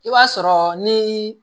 I b'a sɔrɔ ni